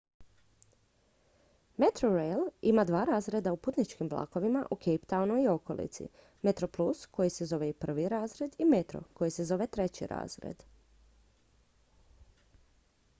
metrorail ima dva razreda u putničkim vlakovima u cape townu i okolici: metroplus koji se zove i prvi razred i metro koji se zove treći razred